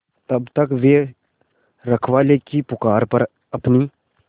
तब तक वे रखवाले की पुकार पर अपनी